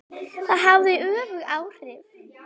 Það hafði öfug áhrif.